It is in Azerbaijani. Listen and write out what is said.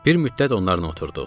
Bir müddət onlarla oturduq.